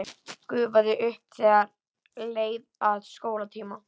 Gufaði upp þegar leið að skólatíma.